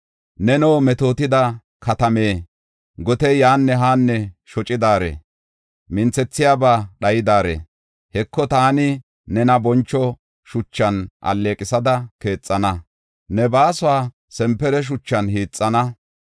“Neno, metootida katame, gotey yaanne haanne shocidaare, minthethiyabay dhayidare, Heko, taani nena boncho shuchan alleeqisada keexana; ne baasuwa sanpare shuchan hiixana.